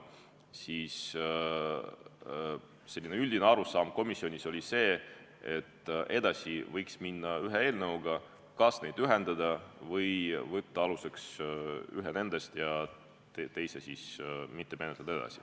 Üldine arusaam komisjonis oli see, et edasi võiks minna ühe eelnõuga, kas nad ühendada või võtta aluseks üks nendest ja teist mitte edasi menetleda.